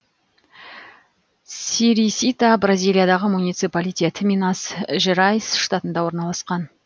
серисита бразилиядағы муниципалитет минас жерайс штатында орналасқан